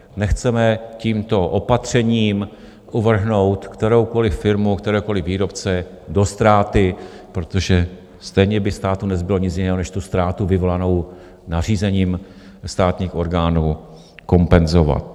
Nechceme tímto opatřením uvrhnout kteroukoliv firmu, kteréhokoliv výrobce do ztráty, protože stejně by státu nezbylo nic jiného než tu ztrátu vyvolanou nařízením státních orgánů kompenzovat.